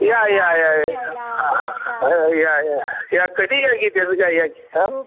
या या या या कधी येत्या या